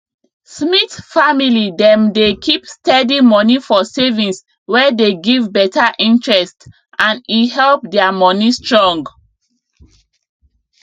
smith family dem dey keep steady moni for savings wey dey give better interest and e help their moni strong